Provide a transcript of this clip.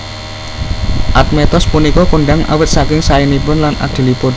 Admetos punika kondhang awit saking saénipun lan adilipun